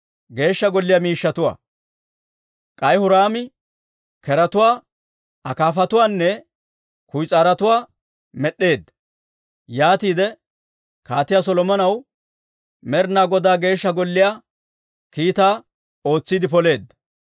K'ay Huraami keretuwaa, akaafatuwaanne kuyis'aarotuwaa med'd'eedda; yaatiide Kaatiyaa Solomonaw Med'inaa Godaa Geeshsha Golliyaa kiitaa ootsiide poleedda.